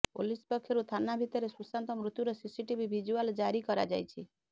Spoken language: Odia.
ପୋଲିସ ପକ୍ଷରୁ ଥାନା ଭିତରେ ସୁଶାନ୍ତ ମୃତ୍ୟୁର ସିସିଟିଭି ଭିଜୁଆଲ ଜାରି କରାଯାଇଛି